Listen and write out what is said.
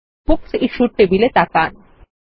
books issued টেবিলে তাকান